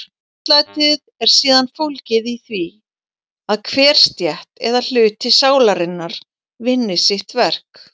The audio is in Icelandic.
Réttlætið er síðan fólgið í því að hver stétt eða hluti sálarinnar vinni sitt verk.